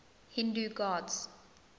hindu gods